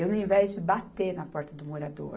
Eu, ao invés de bater na porta do morador,